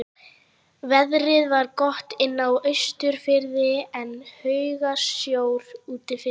Veðrið var gott inni á Austurfirði en haugasjór úti fyrir.